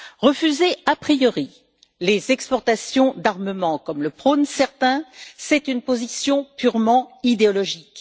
Refuser a priori les exportations d'armements, comme le prônent certains, c'est une position purement idéologique.